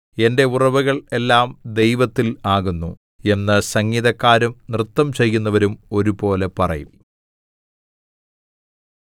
എന്റെ ഉറവുകൾ എല്ലാം ദൈവത്തിൽ ആകുന്നു എന്ന് സംഗീതക്കാരും നൃത്തം ചെയ്യുന്നവരും ഒരുപോലെ പറയും